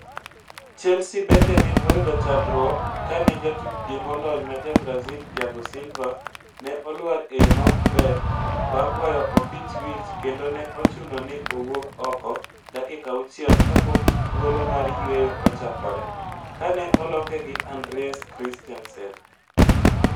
Chelsea bende ne oyudo chandruok kanejatukgi molony ma ja Brazil Thiago Silva ne olwar e yo ma ok ber bang' goyo opich wich kendo ne ochuno ni owuok oko dakika auchiel kapok thuolo mar yueyo ochakore, ka ne oloke gi Andreas Christensen.